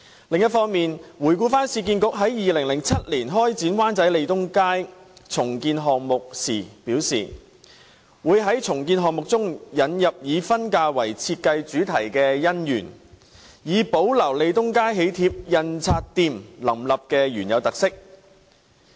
另一方面，市建局於2007年開展灣仔利東街重建項目時表示，會在重建項目中引入以婚嫁為設計主題的"姻園"，以保留利東街喜帖印刷店林立的原有特色。